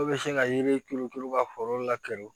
Dɔw bɛ se ka yiri turu turu ka foro lakuru